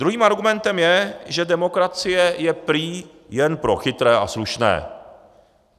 Druhým argumentem je, že demokracie je prý jen pro chytré a slušné.